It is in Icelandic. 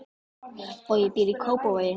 Bogi býr í Kópavogi.